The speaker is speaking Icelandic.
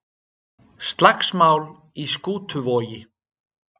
Slagsmál í Skútuvogi